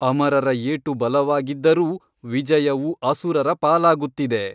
ಅಮರರ ಏಟು ಬಲವಾಗಿದ್ದರೂ ವಿಜಯವು ಅಸುರರ ಪಾಲಾಗುತ್ತಿದೆ.